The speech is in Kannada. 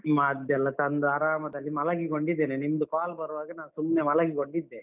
ಮದ್ದೆಲ್ಲ ತಂದು ಆರಾಮದಲ್ಲಿ ಮಲಗಿಕೊಂಡಿದೆನೆ, ನಿಮ್ದು call ಬರುವಾಗ ನಾನು ಸುಮ್ನೆ ಮಲಗಿಕೊಂಡಿದ್ದೆ.